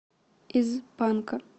из панка